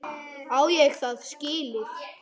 Á ég það skilið?